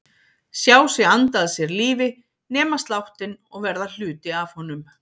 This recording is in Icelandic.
Sjá sig anda að sér lífi, nema sláttinn og verða hluti af honum.